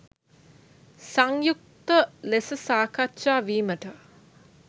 සංයුක්ත ලෙස සාකච්ඡා වීමට